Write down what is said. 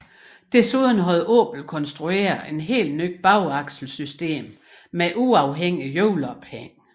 Desuden havde Opel konstrueret et helt nyt bagaksel system med uafhængig hjulophæng